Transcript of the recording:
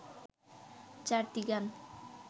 চারটি গান